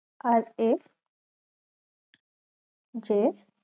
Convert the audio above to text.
r a j